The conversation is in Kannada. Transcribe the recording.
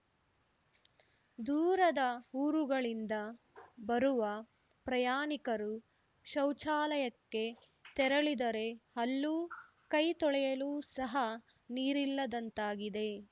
ದೂರದ ಊರುಗಳಿಂದ ಬರುವ ಪ್ರಯಾಣಿಕರು ಶೌಚಾಲಯಕ್ಕೆ ತೆರಳಿದರೆ ಅಲ್ಲೂ ಕೈ ತೊಳೆಯಲು ಸಹ ನೀರಿಲ್ಲದಂತಾಗಿದೆ